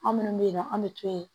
An minnu bɛ yen nɔ an bɛ to yen